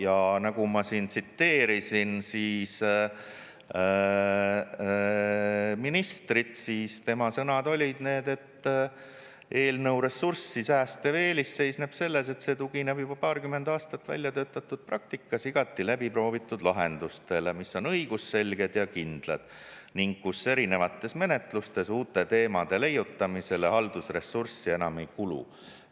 Ja nagu ma siin tsiteerisin ministrit, siis tema sõnad olid need, et eelnõu ressurssi säästev eelis seisneb selles, et see tugineb juba paarkümmend aastat välja töötatud praktikas igati läbiproovitud lahendustele, mis on õigusselged ja kindlad ning kus erinevates menetlustes uute teemade leiutamisele haldusressurssi enam ei kulu.